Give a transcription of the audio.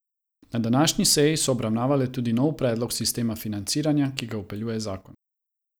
Na današnji seji so obravnavali tudi nov predlog sistema financiranja, ki ga vpeljuje zakon.